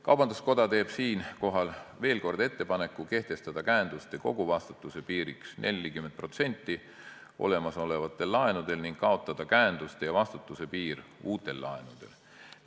Kaubanduskoda teeb veel kord ettepaneku kehtestada käenduste koguvastutuse piiriks 40% olemasolevate laenude puhul ning ettepaneku kaotada käenduste ja vastutuse piir uute laenude puhul.